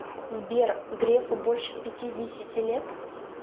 сбер грефу больше пятидесяти лет